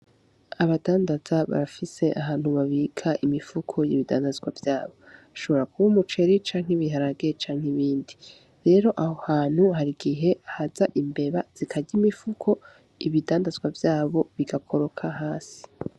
Abadandaza barafise ahantu babika imifuko y'ibidandazwa vyabo. Ushobora kuba umuceri , ibiharage, canke ibindi. Rero aho hantu harigihe haza imbeba zikarya imifuko, ibidandazwa vyabo bigakoroka hasi.